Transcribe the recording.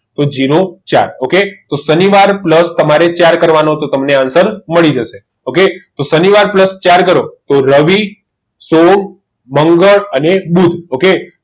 તો જેરો ચાર okay શનિવાર plus તમારે ચાર કરવાના હતા તમને answer મળી જશે તો સાનિવાર પ્લસ ચાર કરો તો તો રવિ સોમ મંગળ અને બુધ okay